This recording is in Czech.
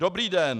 "Dobrý den.